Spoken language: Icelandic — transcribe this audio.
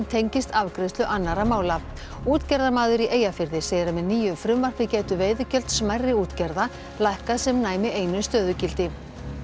tengist afgreiðslu annarra mála útgerðarmaður í Eyjafirði segir að með nýju frumvarpi gætu veiðigjöld smærri útgerða lækkað sem næmi einu stöðugildi